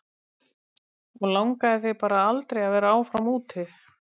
Og langaði þig bara aldrei að vera áfram úti?